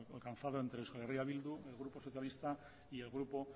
alcanzado entre euskal herria bildu el grupo socialista y el grupo